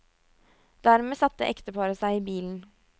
Dermed satte ekteparet seg i bilen.